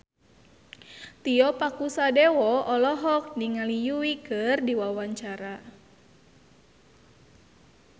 Tio Pakusadewo olohok ningali Yui keur diwawancara